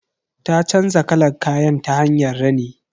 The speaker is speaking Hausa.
Ta canza kalan kayan ta hanyar rini.